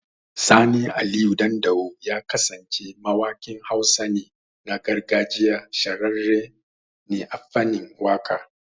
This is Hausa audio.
Sani Aliyu Dandawo Ya kasance mawakin Hausa ne, na gargajiya. Shahararre ne a fanin waka